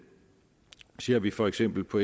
ser vi for eksempel på